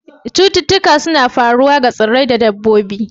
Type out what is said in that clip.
Cututtuka suna faruwa ga tsirrai da dabbobi.